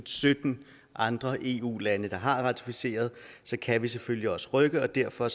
sytten andre eu lande der har ratificeret så kan vi selvfølgelig også rykke derfor